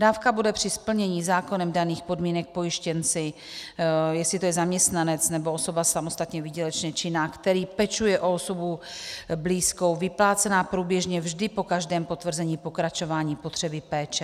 Dávka bude při splnění zákonem daných podmínek pojištěnci - jestli to je zaměstnanec nebo osoba samostatně výdělečně činná -, který pečuje o osobu blízkou, vyplácena průběžně vždy po každém potvrzení pokračování potřeby péče.